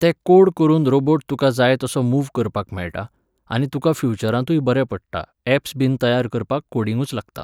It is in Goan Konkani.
ते कोड करून रोबोट तुका जाय तसो मूव्ह करपाक मेळटा, आनी तुका फ्युचरांतूय बरें पडटा ऍप्स बीन तयार करपाक कोडिंगूच लागता.